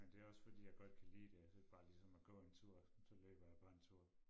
Men det også fordi jeg godt kan lide det bare ligesom at gå en tur så løber jeg bare en tur